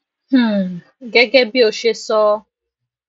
um gégé bí ó ṣe sọ um